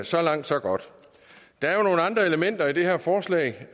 så langt så godt der er jo nogle andre elementer i det her forslag